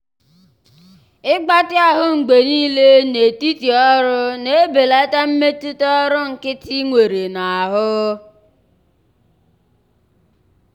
ịgbatị ahụ mgbe niile n'etiti ọrụ na-ebelata mmetụta ọrụ nkịtị nwere n'ahụ.